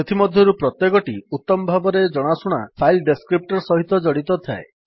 ସେଥି ମଧ୍ୟରୁ ପ୍ରତ୍ୟେକଟି ଉତ୍ତମ ଭାବେ ଜଣାଶୁଣା ଫାଇଲ୍ ଡେସ୍କ୍ରିପ୍ଟର୍ ସହିତ ଜଡିତ ଥାଏ